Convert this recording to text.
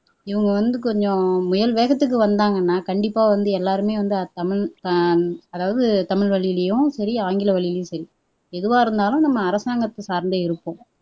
இவங்க வந்து கொஞ்சம் முயல் வேகத்துக்கு வந்தாங்கன்னா கண்டிப்பா வந்து எல்லாருமே வந்து தமிழ் அஹ் அதாவது தமிழ்வழிலயும் சரி ஆங்கிலவழிலயும் சரி எதுவா இருந்தாலும் நம்ம அரசாங்கத்தை சார்ந்தே இருப்போம்